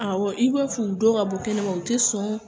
Awɔ, i b'a f'u dɔw ka bɔ kɛnɛma, u te sɔn